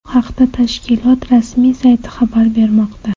Bu haqda tashkilot rasmiy sayti xabar bermoqda .